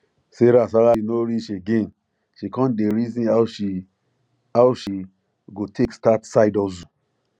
sarah salary no reach again she come dey reason how she how she go take start side hustle